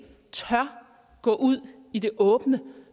tør gå ud i det åbne